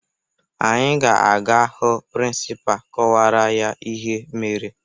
Anyị ga-aga hụ prịnsịpaa kọwara ya ihe mere